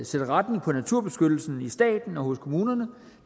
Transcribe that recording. sætte retning på naturbeskyttelsen i staten og kommunerne